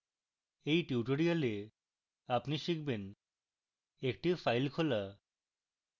at tutorial আপনি শিখবেন একটি file খোলা